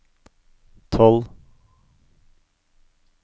tolv